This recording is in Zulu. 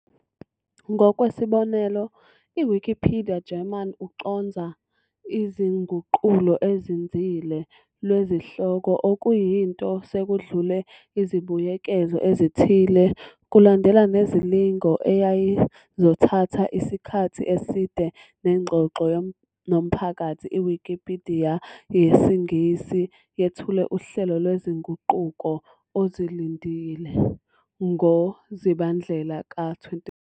Ngokwesibonelo, i-Wikipedia German ucondza "izinguqulo ezinzile" lwezihloko, okuyinto Sekudlule izibuyekezo ezithile. Kulandela nezilingo eyayizothatha isikhathi eside nengxoxo nomphakathi, iwikipidiya yesiNgisi yethula uhlelo "lwezinguquko ozilindile" ngoZibandlela ka 2012.